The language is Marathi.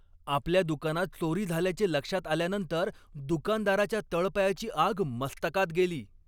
आपल्या दुकानात चोरी झाल्याचे लक्षात आल्यानंतर दुकानदाराच्या तळपायाची आग मस्तकात गेली.